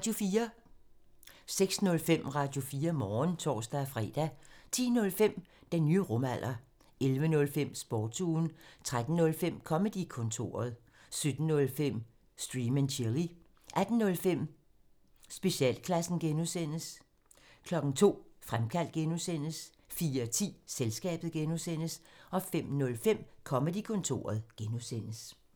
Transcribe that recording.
06:05: Radio4 Morgen (tor-fre) 10:05: Den nye rumalder 11:05: Sportsugen 13:05: Comedy-kontoret 17:05: Stream and chill 18:05: Specialklassen (G) 02:00: Fremkaldt (G) 04:10: Selskabet (G) 05:05: Comedy-kontoret (G)